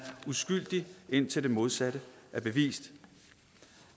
uskyldig indtil det modsatte er bevist